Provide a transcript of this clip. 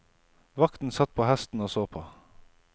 Vakten satt på hesten og så på.